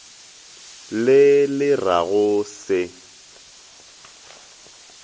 le le ra go se